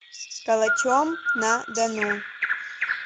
калачом на дону